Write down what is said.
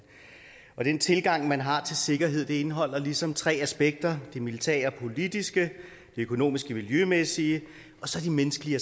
og den tilgang man har til sikkerhed indeholder ligesom tre aspekter og det militære og politiske det økonomiske og miljømæssige og så det menneskelige